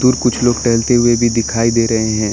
कुछ लोग टहलते हुए भी दिखाई दे रहे हैं।